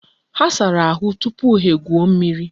Ha sara ahu tupu ha egwuo mmiri.